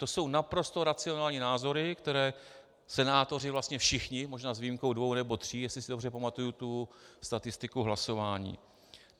To jsou naprosto racionální názory, které senátoři vlastně všichni, možná s výjimkou dvou nebo tří, jestli si dobře pamatuji tu statistiku hlasování.